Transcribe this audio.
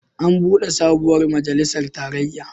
An buɗe sabuwar majalisar tarayya.